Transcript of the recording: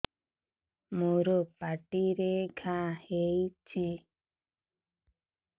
ମୋର ପାଟିରେ ଘା ହେଇଚି